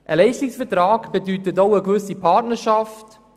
Ein Leistungsvertrag bedeutet auch eine gewisse Partnerschaft.